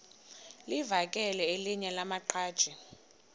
livakele elinye lamaqhaji